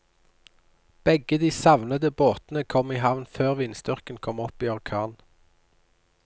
Begge de savnede båtene kom i havn før vindstyrken kom opp i orkan.